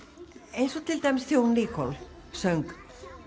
eins og þegar Nicole söng